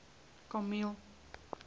kameel